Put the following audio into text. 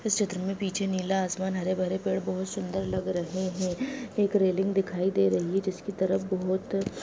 इस चित्र में पीछे नीला आसमान हरे-भरे पेड़-पौधे बहुत सुंदर लग रहे है एक रेलिंग दिखाई दे रही है जिसकी तरफ बहोत --